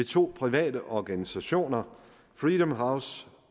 to private organisationer freedom house